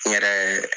N yɛrɛ